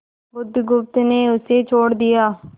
बुधगुप्त ने उसे छोड़ दिया